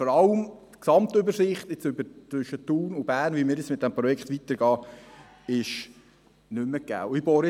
Vor allem die Gesamtübersicht, wie wir zwischen Thun und Bern mit diesem Projekt weiterfahren, ist nicht mehr gegeben.